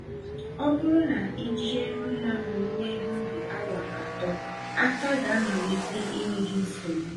Ọbụrụ na ijie mma owuwe ihe ubi awa atọ, aka gá malite ịnye gị nsogbu.